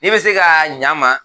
N bɛ se ka ɲɛ a ma